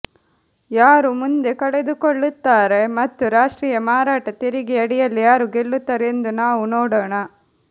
ಯಾರು ಮುಂದೆ ಕಳೆದುಕೊಳ್ಳುತ್ತಾರೆ ಮತ್ತು ರಾಷ್ಟ್ರೀಯ ಮಾರಾಟ ತೆರಿಗೆ ಅಡಿಯಲ್ಲಿ ಯಾರು ಗೆಲ್ಲುತ್ತಾರೆ ಎಂದು ನಾವು ನೋಡೋಣ